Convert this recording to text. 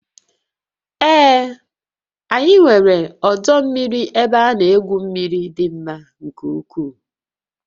Ee, anyị nwere ọdọ mmiri ebe ana egwu mmiri dị mma nke ukwuu